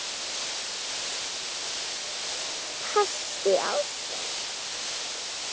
Partí ársins?